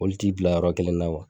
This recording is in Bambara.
Oli ti bila yɔrɔ kelen na